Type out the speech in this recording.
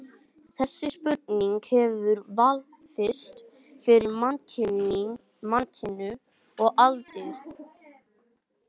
Þessi spurning hefur vafist fyrir mannkyninu um aldir.